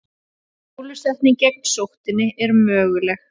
Bólusetning gegn sóttinni er möguleg.